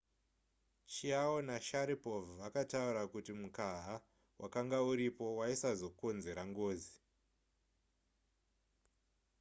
chiao nasharipov vakataura kuti mukaha wakanga uripo waisazokonzera ngozi